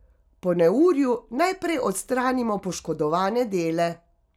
Po neurju najprej odstranimo poškodovane dele.